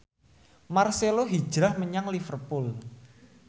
marcelo hijrah menyang Liverpool